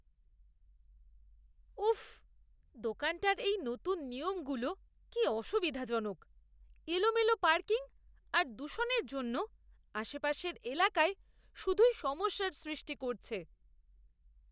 উফ্! দোকানটার এই নতুন নিয়মগুলো কি অসুবিধাজনক। এলোমেলো পার্কিং আর দূষণের জন্য আশপাশের এলাকায় শুধুই সমস্যার সৃষ্টি করছে!